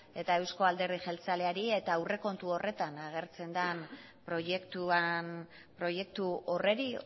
eta eusko alderdi jeltzaleari eta aurrekontu horretan agertzen den proiektu horri